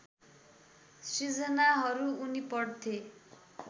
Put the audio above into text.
सिर्जनाहरू उनी पढ्थे